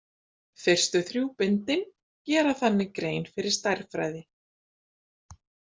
Fyrstu þrjú bindin gera þannig grein fyrir stærðfræði.